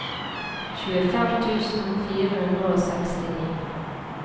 tjuefem tusen fire hundre og sekstini